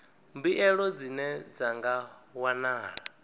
mbuelo dzine dza nga wanala